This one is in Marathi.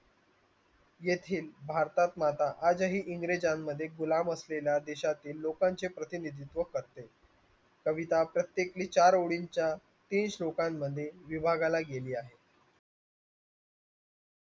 येथील भारतात माता आजही इंग्रजांमध्ये असलेल्या देशातील लोकांची प्रतिनिधित्व करते कविता प्रत्येकी चार ओळींच्या तीस लोकांमध्ये विभागाला गेली आहे